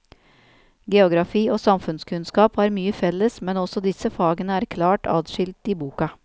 Geografi og samfunnskunnskap har mye felles, men også disse fagene er klart adskilt i boka.